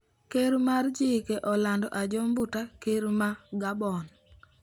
Doho mar chike olando Ajoh Mbuta ker ma Gabon